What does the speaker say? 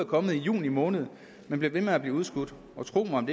kommet i juni måned men bliver ved med at blive udskudt og tro mig om